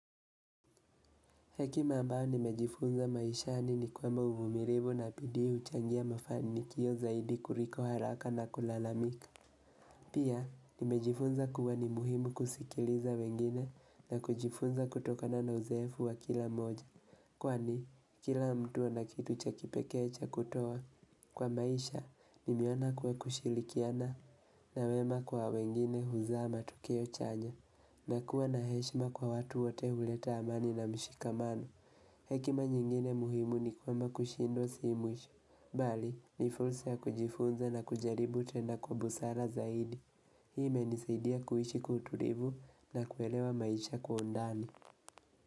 Hekima ambayo nimejifunza maishani ni kwamba uvumilivu na bidii huchangia mafanikio zaidi kuliko haraka na kulalamika. Pia nimejifunza kuwa ni muhimu kusikiliza wengine na kujifunza kutokana na uzeefu wa kila mmoja Kwani kila mtu ana kitu cha kipekee cha kutoa kwa maisha nimeona kuwa kushirikiana na wema kwa wengine huzaa matokeo chanya. Na kuwa na heshima kwa watu wote huleta amani na mshikamano. Hekima nyingine muhimu ni kwamba kushindwa si mwisho. Bali, ni fulsa ya kujifunza na kujaribu kutenda kwa busara zaidi. Hii imenisaidia kuishi kutulivu na kuelewa maisha kwa undani.